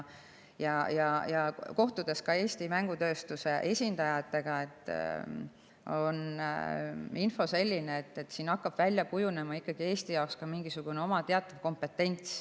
Kohtumiselt Eesti mängutööstuse esindajatega on selline info, et siin hakkab ikkagi Eestil välja kujunema mingisugune teatav oma kompetents.